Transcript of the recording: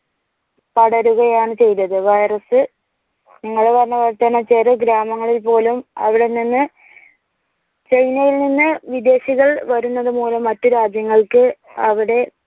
പടരുകയാണ് ചെയ്തത് വൈറസ് നിങ്ങൾ പറഞ്ഞതുപോലെ ചെറു ഗ്രാമങ്ങളിൽ പോലും അവിടെനിന്ന് china യിൽ നിന്ന് വിദേശികൾ വരുന്നതുമൂലം മറ്റു രാജ്യങ്ങൾക്ക് അവിടെ